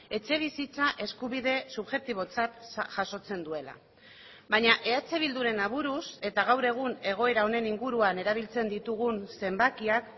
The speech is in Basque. etxebizitza eskubide subjektibotzat jasotzen duela baina eh bilduren aburuz eta gaur egun egoera honen inguruan erabiltzen ditugun zenbakiak